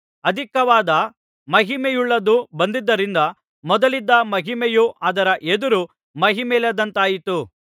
ಅಧಿಕವಾದ ಮಹಿಮೆಯುಳ್ಳದ್ದು ಬಂದದ್ದರಿಂದ ಮೊದಲಿದ್ದ ಮಹಿಮೆಯು ಅದರ ಎದುರು ಮಹಿಮೆಯಿಲ್ಲದಂತಾಯಿತು